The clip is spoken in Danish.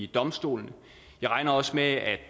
domstolene jeg regner også med at